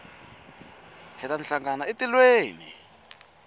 hi ta hlangana etilweni